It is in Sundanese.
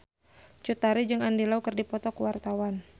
Cut Tari jeung Andy Lau keur dipoto ku wartawan